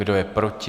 Kdo je proti?